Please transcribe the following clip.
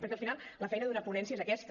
perquè al final la feina d’una ponència és aquesta